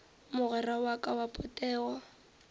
mogwera wa ka wa potego